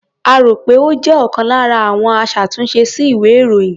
A rò pé ó jẹ́ ọlkan lára àwọn aṣàtúnṣe sí ìwé-ìròyìn.